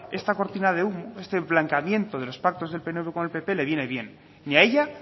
esta cortina de humo este blanqueamiento de los pactos del pnv con el pp le viene bien ni a ella